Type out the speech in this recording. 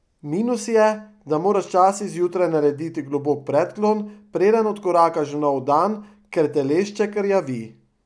Minus je, da moraš včasih zjutraj narediti globok predklon, preden odkorakaš v nov dan, ker telešček rjavi.